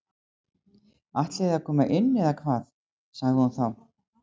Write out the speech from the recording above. Ætliði að koma inn eða hvað sagði hún þá.